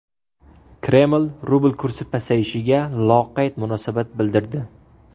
Kreml rubl kursi pasayishiga loqayd munosabat bildirdi.